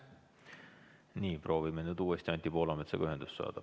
Proovime nüüd uuestiAnti Poolametsaga ühendust saada.